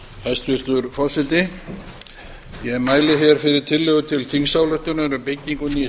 hæstvirtur forseti ég mæli fyrir tillögu til þingsályktunar um byggingu nýs